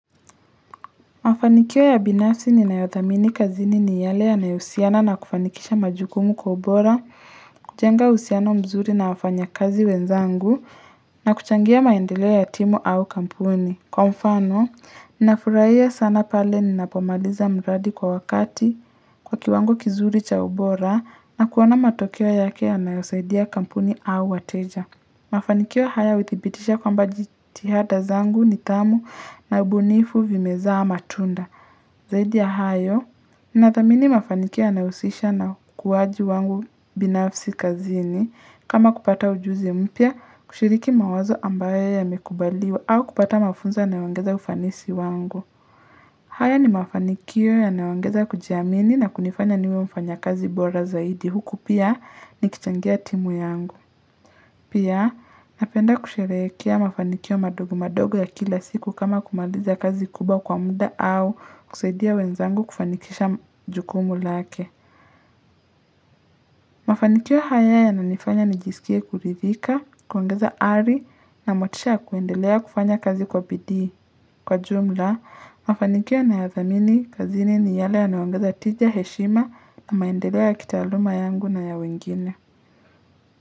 Mafanikio ya binafsi ninayothamini kazini ni yale yanayohusiana na kufanikisha majukumu kwa ubora, kujenga uhusiano mzuri na wafanyakazi wenzangu na kuchangia maendeleo ya timu au kampuni. Kwa mfano, ninafurahia sana pale ninapomaliza mradi kwa wakati kwa kiwango kizuri cha ubora na kuona matokeo yake yanayosaidia kampuni au wateja. Mafanikio haya huthibitisha kwamba jithihada zangu nidhamu na ubunifu vimezaa matunda. Zaidi ya hayo, nathamini mafanikio yanayohusisha na ukuwaji wangu binafsi kazini. Kama kupata ujuzi mpya, kushiriki mawazo ambayo yamekubaliwa au kupata mafunzo yanayoongeza ufanisi wangu. Haya ni mafanikio yanaongeza kujiamini na kunifanya niwe mfanyakazi bora zaidi. Huku pia nikichangia timu yangu. Pia, napenda kusherehekea mafanikio madogo madogo ya kila siku kama kumaliza kazi kubwa kwa muda au kusaidia wenzangu kufanikisha jukumu lake. Mafanikio haya yananifanya nijisikie kuridhika, kuongeza ari na motisha kuendelea kufanya kazi kwa bidii. Kwa jumla, mafanikio ninayoyathamini kazini ni yale yanayoongeza tija, heshima na maendeleo ya kitaaluma yangu na ya wengine.